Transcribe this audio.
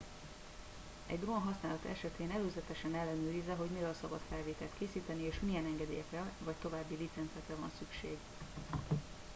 egy drón használata esetén előzetesen ellenőrizze hogy miről szabad felvételt készíteni és milyen engedélyekre vagy további licencekre van szüksége